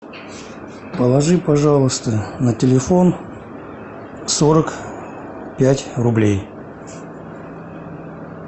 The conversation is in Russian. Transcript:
положи пожалуйста на телефон сорок пять рублей